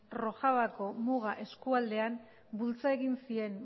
rojavako muga eskualdean bultza egin zien